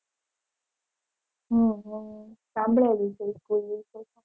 હમ હમ સાંભડેલી છે એ school વિશે.